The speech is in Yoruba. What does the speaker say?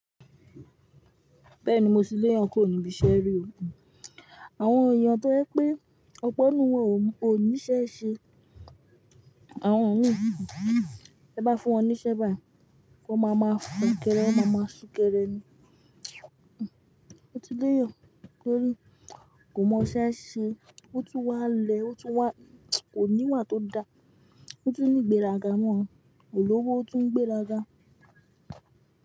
Bẹ́ẹ̀ni mo ti léyàn kuro ní ibiṣẹ́ rí oo. Àwọn èèyàn tó ẹ pé ọpọ́nù wọn ò níṣẹ́ ṣe, àwọn òníhìnú, ẹ bá fún wọn níṣẹ́ bá, wọn máa ma fòkere, wọn máa ma súnkẹrẹ ni. Mo ti léyàn torí kò mọ iṣẹ́ ṣe, ó tún wá lẹ, ó tún wá kò ní ìwà tó da, ó tún ní ìgbéraga mọ́, ko lówó ó tún ń gbéra ga.